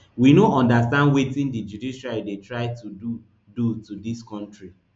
we no understand wetin di judiciary dey try to do do to dis kontri